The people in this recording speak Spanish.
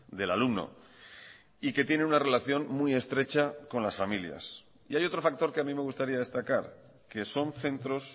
del alumno y que tiene una relación muy estrecha con las familias y hay otro factor que a mí me gustaría destacar que son centros